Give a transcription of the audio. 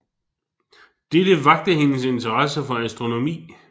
Dette vakte hendes interesse for astronomi